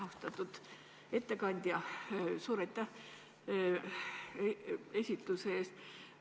Austatud ettekandja, suur aitäh esitluse eest!